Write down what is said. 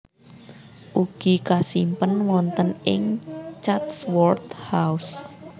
Ugi kasimpen wonten ing Chatsworth House